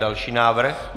Další návrh.